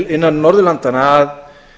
innan norðurlandanna að